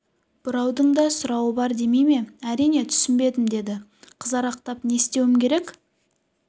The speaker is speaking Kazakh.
бұраудың да сұрауы бар демей ме әрине түсінбедім деді қызарақтап не істеуім керек